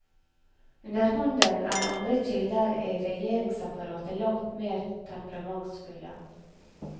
Underhånden er andre kilder i regjeringsapparatet langt mer temperamentsfulle.